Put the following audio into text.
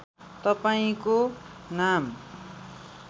तपाईँको नाम